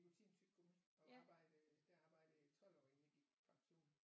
Nikotintyggegummi og arbejdede der arbejdede jeg i 12 år inden jeg gik på pension